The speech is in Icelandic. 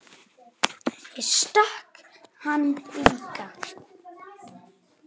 Ég stakk hann líka.